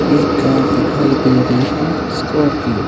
एक कार दिखाई दे रही है स्कॉर्पियो --